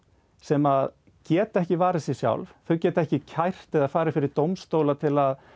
sem geta ekki varið sig sjálf geta ekki kært eða farið fyrir dómstóla til að